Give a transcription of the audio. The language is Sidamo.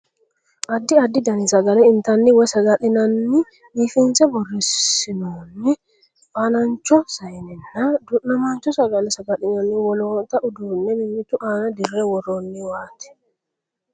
Addi addi dani sagale intanni woy saga'linanni biifinse borreessinoonni fanancho saayinnanna du'namaancho sagale saga'linanni wolootta uduunne mimmitu aana dirre worrooniwaati.